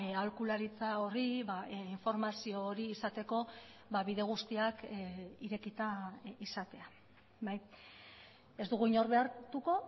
aholkularitza horri informazio hori izateko bide guztiak irekita izatea ez dugu inor behartuko